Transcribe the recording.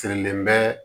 Sirilen bɛ